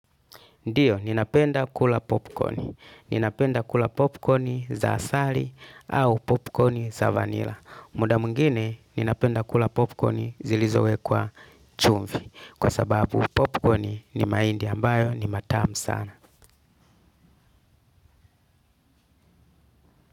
Ndiyo, ninapenda kula popcorni. Ninapenda kula popcorni za asali au popcorni za vanilla. Muda mwingine, ninapenda kula popcorni zilizo wekwa chumvi. Kwa sababu, popcorni ni mahindi ambayo ni matamu sana.